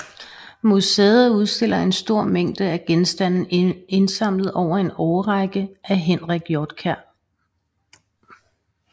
Museet udstiller en stor mængde af genstande indsamlet over en årrække af Henrik Hjortkær